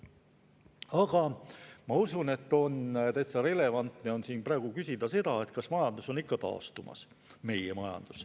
Aga ma usun, et on täitsa relevantne siin praegu küsida seda, kas meie majandus on ikka taastumas.